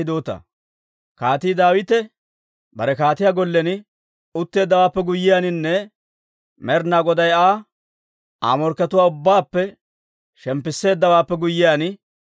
Kaatii Daawite bare kaatiyaa gollen utteeddawaappe guyyiyaaninne Med'inaa Goday Aa, Aa morkkatuwaa ubbaappe shemppisseeddawaappe guyyiyaan,